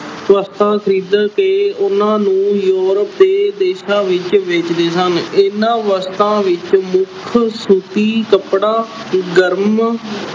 ਵਸਤਾਂ ਖ਼ਰੀਦ ਕੇ ਉਹਨਾਂ ਨੂੰ Europe ਦੇ ਦੇਸ਼ਾਂ ਵਿੱਚ ਵੇਚਦੇ ਸਨ, ਇਹਨਾਂ ਵਸਤਾਂ ਵਿੱਚ ਮੁੱਖ ਸੂਤੀ ਕੱਪੜਾ, ਗਰਮ